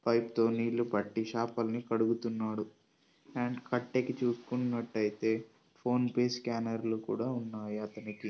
Pipe తో నీళ్ళు పట్టి చపల్ని కడుగుతున్నాడు. అండ్ కట్టకి చూసకున్నటు అయితే ఫోన్ పే స్కానర్ లు ఉన్నాయి అతనికి.